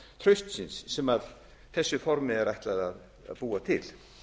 traustsins sem þessu formi er ætlað að búa til